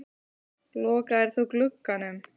Lokaðir þú glugganum?